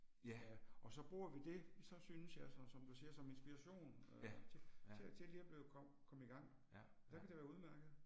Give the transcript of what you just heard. Ja, og så bruger vi det, så synes jeg sådan som du siger, som inspiration øh til til at til lige at blive komme i gang, der kan det være udemærket